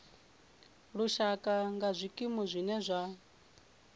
lushaka nga zwikimu zwine zwa